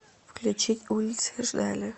включить улицы ждали